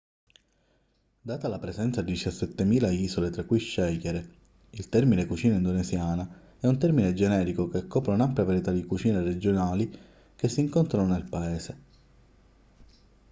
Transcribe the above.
data la presenza di 17.000 isole tra cui scegliere il termine cucina indonesiana è un termine generico che copre un'ampia varietà di cucine regionali che si incontrano nel paese